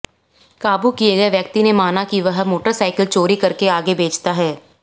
काबू किए गए व्यक्ति ने माना कि वह मोटरसाइकिल चोरी करके आगे बेचता है